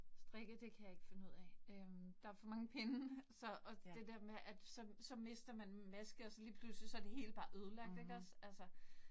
Strikke det kan jeg ikke finde ud af øh. Der for mange pinde, så og det der med, at så så mister man maske, og så lige pludseligt, så det hele bare ødelagt ikke også? Altså